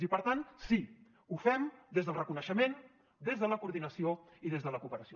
i per tant sí ho fem des del reconeixement des de la coordinació i des de la cooperació